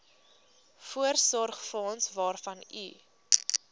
voorsorgsfonds waarvan u